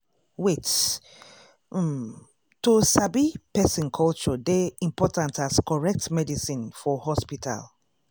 wait- ummm to sabi person culture dey important as correct medicine for hospital.